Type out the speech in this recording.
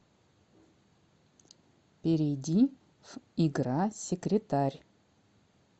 перейди в игра секретарь